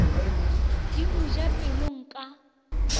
di mo ja pelong ka